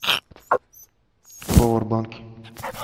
повербанки